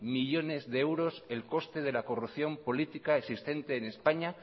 millónes de euros el coste de la corrupción política existente en españa